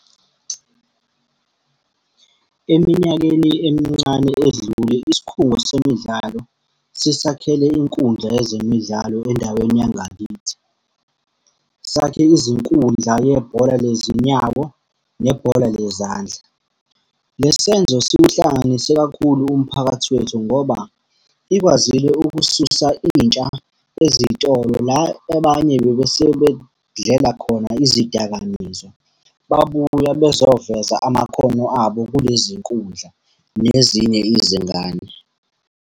Eminyakeni emincane edlule isikhungo semidlalo, sisakhele inkundla yezemidlalo endaweni yangakithi. Sakhe izinkundla yebhola lezinyawo, nebhola lezandla. Le senzo siwuhlanganise kakhulu umphakathi wethu ngoba, ikwazile ukususa intsha ezitolo la abanye bebesuke bedlela khona izidakamizwa. Babuya bezoveza amakhono abo kulezi nkundla nezinye izingane.